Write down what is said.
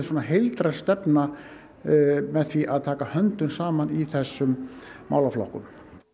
heildræn stefna með því að taka höndum saman í þessum málaflokkum